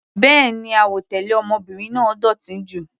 Béèni, àwọ̀ tẹlẹ ọmọbìnrin náà dótì jù.